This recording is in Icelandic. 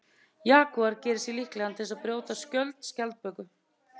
Jagúar gerir sig líklegan til að brjóta skjöld skjaldböku.